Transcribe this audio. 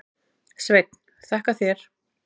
Sveinn: Þakka þér.